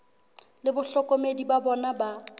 le bahlokomedi ba bona ba